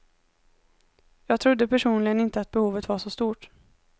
Jag trodde personligen inte att behovet var så stort.